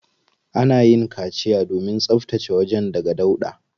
Ana yin kaciya domin tsabtace wajen daga dauɗa.